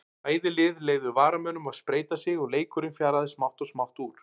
Bæði lið leyfðu varamönnum að spreyta sig og leikurinn fjaraði smátt og smátt út.